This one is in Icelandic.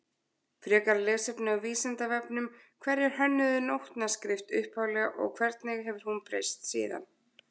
Frekara lesefni á Vísindavefnum Hverjir hönnuðu nótnaskrift upphaflega og hvernig hefur hún breyst síðan?